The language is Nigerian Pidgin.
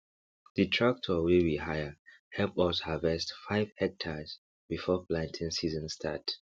the tractor wey we hire help us harverst five hectares before planting season start